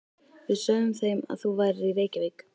Við sögðum þeim að þú værir í Reykjavík.